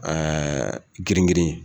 Ɛɛ girin girin